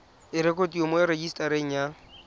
e rekotiwe mo rejisetareng ya